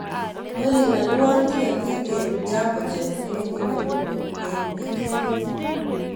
Olly alwon tiketit en jambojet newendi nairobi en wikend ini